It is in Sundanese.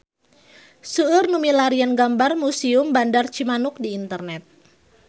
Seueur nu milarian gambar Museum Bandar Cimanuk di internet